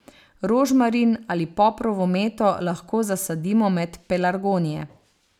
Rožmarin ali poprovo meto lahko zasadimo med pelargonije.